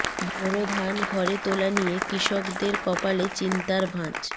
বোরো ধান ঘরে তোলা নিয়ে কৃষকদের কপালে চিন্তার ভাঁজ